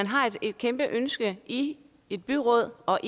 har et kæmpe ønske i et byråd og